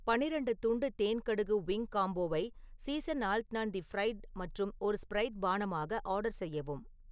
பன்னிரெண்டு துண்டு தேன் கடுகு விங் காம்போவை சீசன் ஆல்ட்னான் தி ஃப்ரைட் மற்றும் ஒரு ஸ்ப்ரைட் பானமாக ஆர்டர் செய்யவும்